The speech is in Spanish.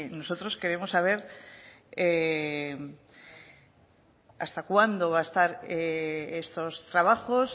nosotros queremos saber hasta cuándo va a estar estos trabajos